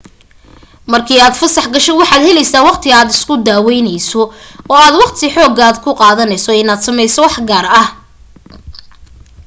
markii aad fasax gasho waxaad helaysaa waqti aad isku daawaynayso oo aad waqti xoogaa ah ku qaadanayso inaad samayso wax gaar ah